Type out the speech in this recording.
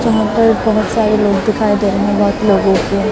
यहां पर बहुत सारे लोग दिखाई दे रहे हैं बहुत लोगों को--